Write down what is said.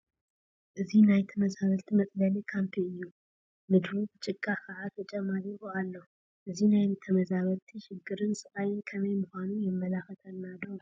እዛ ናይ ተመዛበልቲ መፅለሊ ካምፒ እዩ፡፡ ምድሩ ብጭቃ ከዓ ተጨማሊቑ ኣሎ፡፡ እዚ ናይ ተመዛበልቲ ሽግርን ስቃል ከመይ ምዃኑ የመላኽተና ዶ?